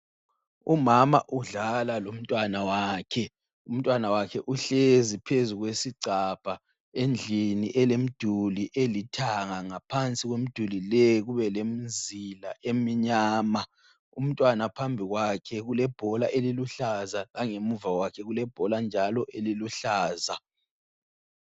Umama udlala lomntwana wakhe. Umntwana wakhe uhlezi phezu kwesigcabha endlini elemduli elithanga ngaphansi kwemduli leyi kubelemzila emnyama. Umntwana phambi kwakhe kulebhola eliluhlaza langemuva kwakhe kulebhola njalo eliluhlaza.